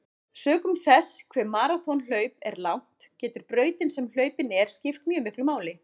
Sökum þess hve maraþonhlaup er langt getur brautin sem hlaupin er skipt mjög miklu máli.